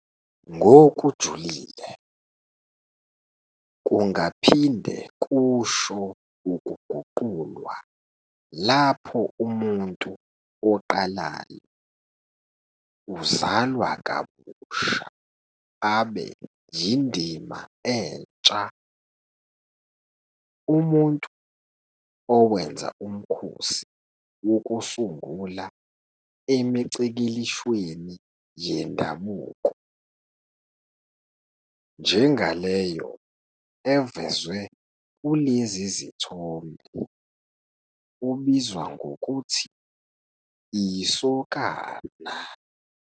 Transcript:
Ngokujulile, kungaphinde kusho ukuguqulwa lapho umuntu oqalayo 'uzalwa kabusha' abe yindima entsha. Umuntu owenza umkhosi wokusungula emicikilishweni yendabuko, njengaleyo evezwe kulezi zithombe, ubizwa ngokuthi isokana.